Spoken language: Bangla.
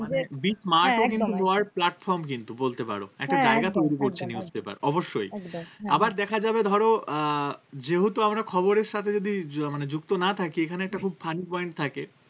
মানে platform কিন্তু বলতে পারো একটা জায়গা তৈরী করছে newspaper অবশ্যই আবার দেখা যাবে ধরো আহ যেহেতু আমরা খবরের সাথে যদি মানে যুক্ত না থাকি এখানে একটা খুব funny point থাকে